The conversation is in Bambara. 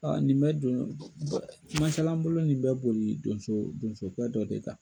Kumakɛlan bolo nin bɛ boli donso donsokƐ dɔ de kan.